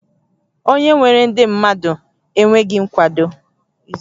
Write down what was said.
Onye nwere ndị mmadụ enweghị nkwado?